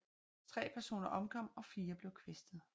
Tre personer omkom og fire blev kvæstet